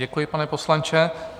Děkuji, pane poslanče.